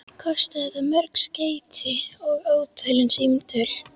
Kostaði það mörg skeyti og ótalin símtöl.